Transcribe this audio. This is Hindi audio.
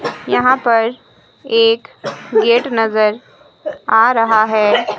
यहां पर एक गेट नजर आ रहा है।